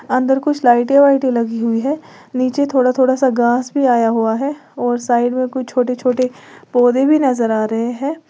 अंदर कुछ लाइटें वाइटये लगी हुई है नीचे थोड़ा थोड़ा सा घास भी आया हुआ है और साइड में कोई छोटे छोटे पौधे भी नजर आ रहे हैं।